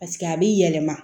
paseke a b'i yɛlɛma